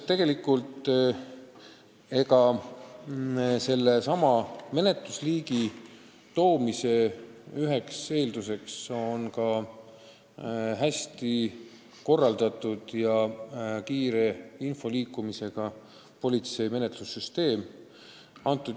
Üldiselt on üks selle menetlusliigi loomise eeldus, et politsei menetlussüsteem toimib hästi ja info liigub kiiresti.